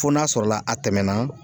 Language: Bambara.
Fo n'a sɔrɔla a tɛmɛna.